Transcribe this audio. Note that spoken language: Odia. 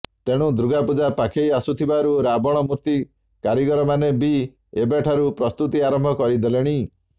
ତେଣୁ ଦୁର୍ଗାପୂଜା ପାଖେଇ ଆସୁଥିବାରୁ ରାବଣ ମୂର୍ତିି କାରିଗରମାନେ ବି ଏବେଠାରୁ ପ୍ରସ୍ତୁତି ଆରମ୍ଭ କରିଦେଲେଣି